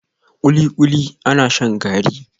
kulikuli ana shan gari